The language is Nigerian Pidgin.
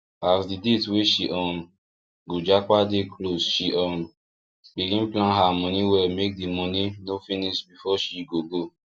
as the date wey she um go japa dey closeshe um begin plan her money well make the money no finish before she go go